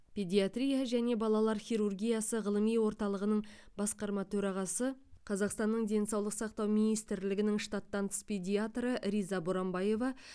педиатрия және балалар хирургиясы ғылыми орталығының басқарма төрағасы қазақстанның денсаулық сақтау министрлігінің штаттан тыс педиатры риза боранбаева